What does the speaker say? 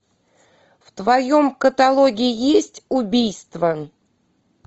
в твоем каталоге есть убийство